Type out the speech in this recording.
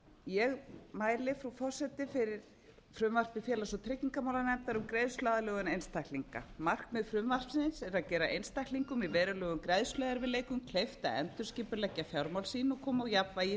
ég mæli frú forseti fyrir frumvarpi félags og tryggingamálanefndar um greiðsluaðlögun einstaklinga markmið laga þessara er að gera einstaklingum í verulegum greiðsluerfiðleikum kleift að endurskipuleggja fjármál sín og koma á jafnvægi